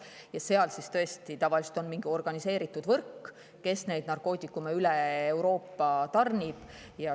Ja seal taga tõesti tavaliselt on mingi organiseeritud võrk, kes neid narkootikume üle Euroopa tarnib.